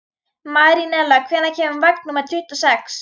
Marinella, hvenær kemur vagn númer tuttugu og sex?